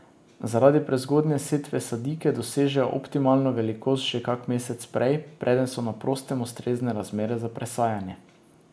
Zaradi prezgodnje setve sadike dosežejo optimalno velikost že kak mesec prej, preden so na prostem ustrezne razmere za presajanje.